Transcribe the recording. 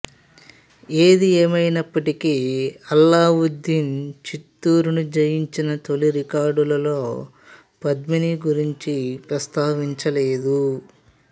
ఏది ఏమయినప్పటికీ అల్లావుద్దీను చిత్తూరును జయించిన తొలి రికార్డులలో పద్మిని గురించి ప్రస్తావించలేదు